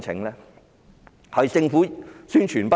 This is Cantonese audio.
是否政府宣傳不足？